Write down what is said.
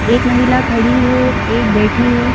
एक महिला खड़ी है एक बैठी है।